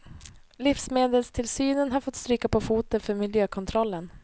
Livsmedelstillsynen har fått stryka på foten för miljökontrollen.